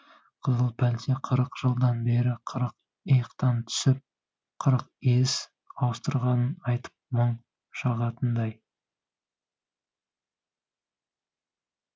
қызыл пәлте қырық жылдан бері қырық иықтан түсіп қырық иіс ауыстырғанын айтып мұң шағатындай